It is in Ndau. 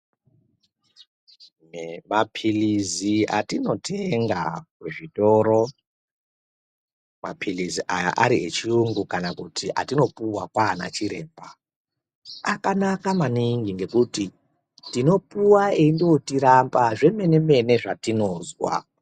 Maphilizi atinotenga kuzvitoro, maphilizi aya ari yechiyungu kana kuti atinopuwa kwaana chiremba, akanaka maningi ngekuti, tinopuwa eindotirapa zvemene -mene zvatinozwa.